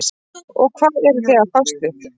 og hvað eruð þið að fást við?